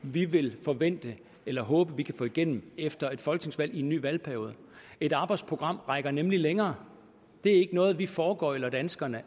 vi vil forvente eller håbe vi kan få igennem efter et folketingsvalg i en ny valgperiode et arbejdsprogram rækker nemlig længere det er ikke noget vi foregøgler danskerne